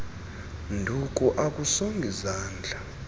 nduku akusongi zandla